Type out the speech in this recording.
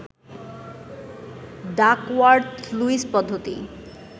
Duckworth Lewis পদ্ধতি